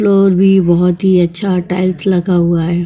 Floor भी बहुत ही अच्छा टाइल्स लगा हुआ है।